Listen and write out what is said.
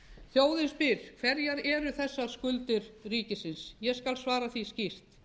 þjóðin spyr hverjar eru þessar skuldir ríkisins ég skal svara því skýrt